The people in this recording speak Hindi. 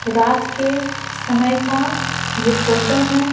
रात के समय का ये फोटो है।